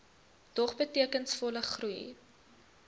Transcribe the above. dog betekenisvolle groei